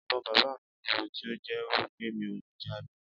ìbon bàbá mí wúwo tí o jé wípé mí o lẹ daagbé